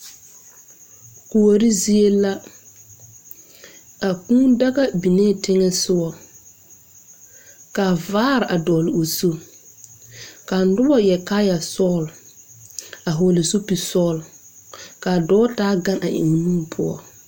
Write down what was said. Kuori zie la a kūū daga binee teŋɛsugɔ ka vaare a dɔgle o zu ka nobɔ yɛre kaayɛ sɔglɔ a hɔɔle zupil sɔglɔ kaa dɔɔ taa gan a eŋ o nu poɔ.